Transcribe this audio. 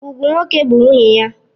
Ugwu nwoke bụ nwunye ya.